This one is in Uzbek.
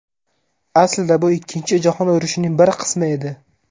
Aslida bu Ikkinchi jahon urushining bir qismi edi.